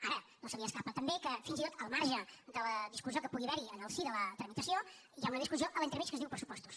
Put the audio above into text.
ara no se li escapa també que fins i tot al marge de la discussió que pugui haver hi en el si de la tramitació hi ha una discussió a l’entremig que es diu pressupostos